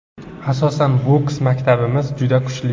Asosan, boks maktabimiz juda kuchli.